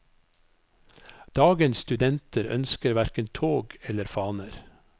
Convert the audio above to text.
Dagens studenter ønsker hverken tog eller faner.